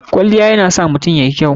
Kwaliya yana sa mutum yayi kyau.